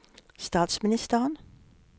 statsministeren